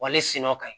Wali sinnɔ ka ɲi